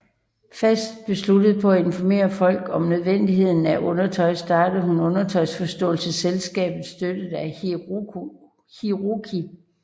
Fast besluttet på at informere folk om nødvendigheden af undertøj starter hun Undertøjsforståelsesselskabet støttet af Hiroki